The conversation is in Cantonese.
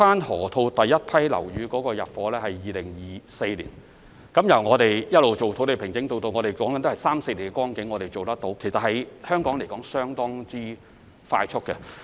河套地區首批樓宇將於2024年入伙，由土地平整至樓宇落成只需三四年時間，在香港來說已是相當快速。